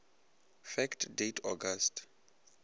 fact date august